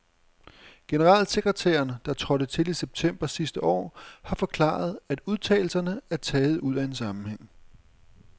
Generalsekretæren, der trådte til i september sidste år, har forklaret, at udtalelserne er taget ud af en sammenhæng.